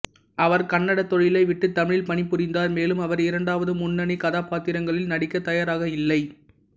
அவர் கன்னடத் தொழிலை விட்டு தமிழில் பணிபுரிந்தார் மேலும் அவர் இரண்டாவது முன்னணி கதாபாத்திரங்களில் நடிக்க தயாராக இல்லை